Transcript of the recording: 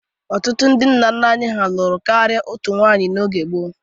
Ọtụtụ ndị nna nna anyị ha lụrụ karịa otu nwaanyị n'oge gboo.